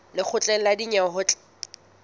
lekgotleng la dinyewe ho tla